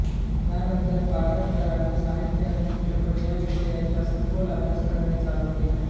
यानंतर पाडळकरांनी साहित्य आणि चित्रपट या विषयाचा सखोल अभ्यास करणे चालू केले